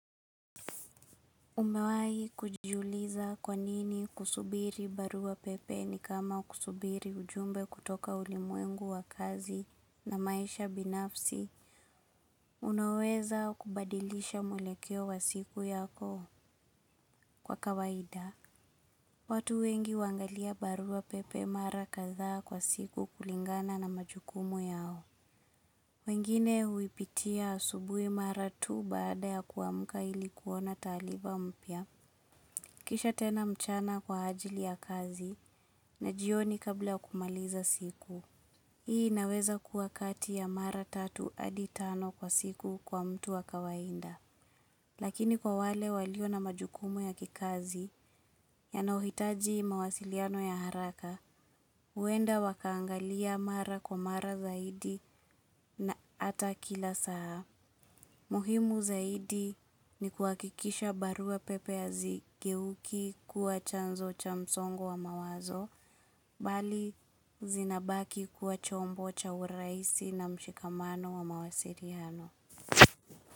Umewai kujiuliza kwanini kusubiri barua pepe ni kama kusubiri ujumbe kutoka ulimwengu wa kazi na maisha binafsi. Unaweza kubadilisha muelekeo wa siku yako kwa kawaida. Watu wengi wangalia barua pepe mara kazaa kwa siku kulingana na majukumu yao. Wengine huipitia asubui mara tu baada ya kuamka ilikuona talifa mpya. Kisha tena mchana kwa ajili ya kazi na jioni kabla ya kumaliza siku. Hii naweza kuwa kati ya mara tatu hadi tano kwa siku kwa mtu wa kawaida. Lakini kwa wale walio na majukumu ya kikazi ya nauhitaji mawasiliano ya haraka, uenda wakaangalia mara kwa mara zaidi na ata kila saa. Muhimu zaidi ni kuakikisha barua pepe hazigeuki kuwa chanzo cha msongo wa mawazo, bali zinabaki kuwa chombo cha urahisi na mshikamano wa mawasiliano.